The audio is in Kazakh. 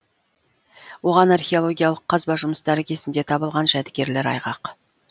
оған археологиялық қазба жұмыстары кезінде табылған жәдігерлер айғақ